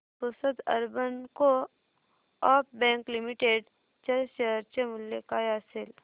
Pusad urban co-op bank limited च्या share चे मूल्य काय असेल